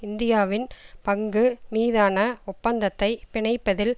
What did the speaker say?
இந்தியாவின் பங்கு மீதான ஒப்பந்தத்தை பிணைப்பதில்